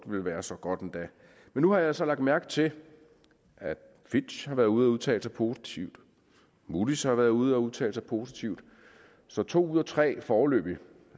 vil være så godt endda men nu har jeg så lagt mærke til at fitch har været ude at udtale sig positivt moodys har været ude at udtale sig positivt så to ud af tre foreløbig